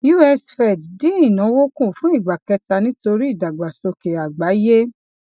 us fed dín ìnáwó kù fún ìgbà kẹta nítorí ìdàgbàsókè àgbáyé